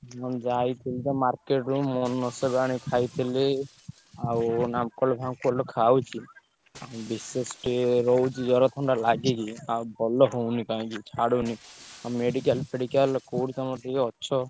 ହଁ ଯାଇଥିଲି ତ market ରୁ ଆଣି ଖାଇଥିଲି। ଆଉ Nam Cold fam cold ଖାଉଛି। ବିଶେଷ ଟିକେ ରହୁଛି ଜ୍ବର, ଥଣ୍ଡା ଲାଗିକି ଆଉ ଭଲ ହଉନି କାଇଁକି ଛାଡ଼ୁନି। ଆଉ medical ଫେଡିକାଲ କୋଉଠି କଣ ଟିକେ ଅଛ,